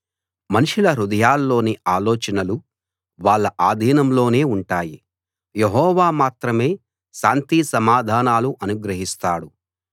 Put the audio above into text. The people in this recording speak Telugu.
మనుషుల హృదయాల్లోని ఆలోచనలు వాళ్ళ ఆధీనంలోనే ఉంటాయి యెహోవా మాత్రమే శాంతి సమాధానాలు అనుగ్రహిస్తాడు